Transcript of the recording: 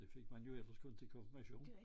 Det fik man jo ellers kun til konfirmation